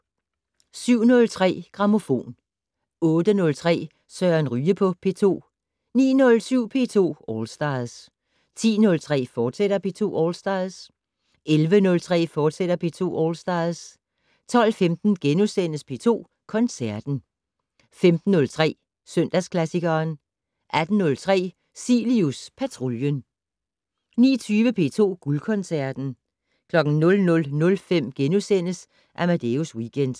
07:03: Grammofon 08:03: Søren Ryge på P2 09:07: P2 All Stars 10:03: P2 All Stars, fortsat 11:03: P2 All Stars, fortsat 12:15: P2 Koncerten * 15:03: Søndagsklassikeren 18:03: Cilius Patruljen 19:20: P2 Guldkoncerten 00:05: Amadeus Weekend *